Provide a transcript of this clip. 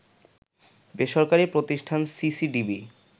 বেসরকারি প্রতিষ্ঠান সিসিডিবি